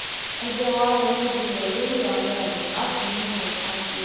ẹgbé wa ronú jinlẹ lórí àwọn ọnà láti mú nnkan ṣe